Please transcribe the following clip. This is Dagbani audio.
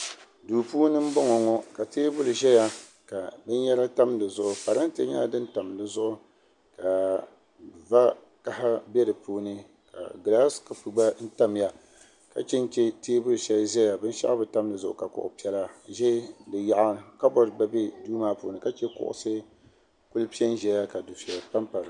duu puuni n bɔŋɔ ŋɔ ka teebuli ʒɛya ka binyɛra tam dizuɣu parantɛ nyɛla din tam dizuɣu ka va kaɣa bɛ di puuni ka gilaas kɔpu gba tamya ka chɛnchɛ teebuli shɛli gba ʒɛya binshaɣu bi tam dizuɣu ka kuɣu piɛla ʒɛ di yaɣa kabood gba bɛ duu maa puuni ka chɛ kuɣusi piɛ n ʒɛya ka dufɛya pa dizuɣu